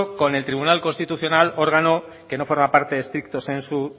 con el tribunal constitucional órgano que no forma parte stricto sensu